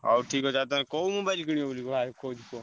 ହଉ ଠିକ୍ ଅଛି ଆଉ ତମେ କଉ mobile କିଣିବ ବୋଲି ।